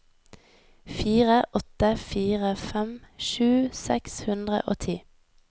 fire åtte fire fem tjue seks hundre og ti